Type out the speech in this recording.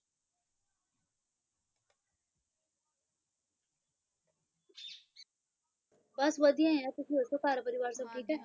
ਬਸ ਵਾਦੀਆਂ ਹੈ ਹੈਂ ਤੁਸੀ ਓਰ ਘੇਰ ਪਰਿਵਾਰ ਸਬ ਠੀਕ ਹੈ? ਹਾਂਜੀ